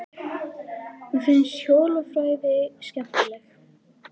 Mér finnst hljóðfræði skemmtileg.